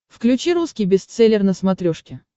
включи русский бестселлер на смотрешке